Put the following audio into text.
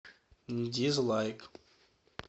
дизлайк